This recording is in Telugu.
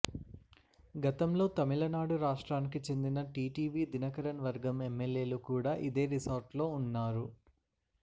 గతంలో తమిళనాడు రాష్ట్రానికి చెందిన టీటీవి దినకరన్ వర్గం ఎమ్మెల్యేలు కూడ ఇదే రిసార్ట్లో ఉన్నారు